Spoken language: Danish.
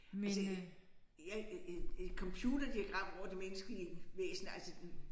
Altså jeg et et computerdiagram hvor det menneskelige væsen altså